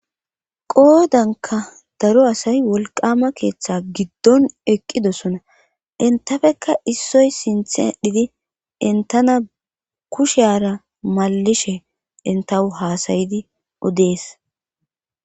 Qoodanka daro asay wolqama keeththa giddon eqqidosona intafeka issoy sinthadhidi entana kusheara malishe entahu haasayidi odees.